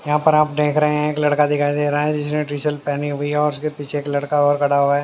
यहां पर आप देख रहे हैं एक लड़का दिखाई दे रहा है जिसने टी-शर्ट पहनी हुई और उसके पीछे एक लड़का और खड़ा हुआ है।